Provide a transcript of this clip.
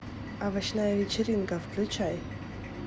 овощная вечеринка включай